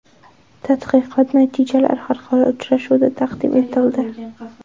Tadqiqot natijalari xalqaro uchrashuvda taqdim etildi.